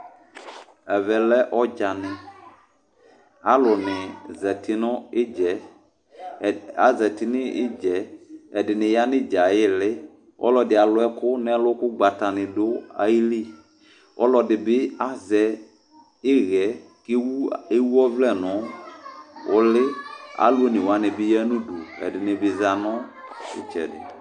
Ɛvɛ lɛ ɔdzanɩ Aluni zǝtɩ nʋ ɩdzɛ Azǝtɩ nʋ idzɛ Ɛdɩnɩ ya nʋ idzɛ ayili Ɔlɔdɩ aluɛkʋ n'ɛlʋ k'ugbata ni dʋayili Ɔlɔdɩ bɩ azɛ ɩɣɛ k'ewʋ ɔvlɛ nʋ uli Alu one wani ya nʋ udu k'ɛdɩnɩ bɩza nʋ ɩtsɛdɩ